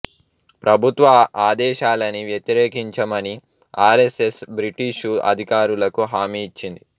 ప్రభుత్వ ఆదేశాలని వ్యతిరేకించమని ఆర్ఎస్ఎస్ బ్రిటిషు అధికారులకు హామీ ఇచ్చింది